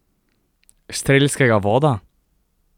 Strelskega voda?